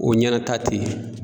O ɲɛna ta tɛ ye.